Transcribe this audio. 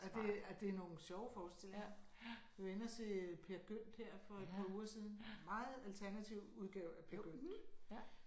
Og det er det er nogle sjove forestillinger. Vi var inde at se Peer Gynt her for et par uger siden. Meget alternativ udgave af Peer Gynt